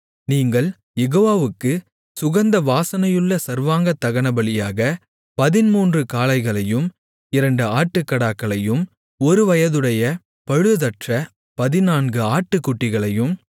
நீங்கள் யெகோவாவுக்குச் சுகந்த வாசனையுள்ள சர்வாங்கதகனபலியாக பதின்மூன்று காளைகளையும் இரண்டு ஆட்டுக்கடாக்களையும் ஒருவயதுடைய பழுதற்ற பதினான்கு ஆட்டுக்குட்டிகளையும்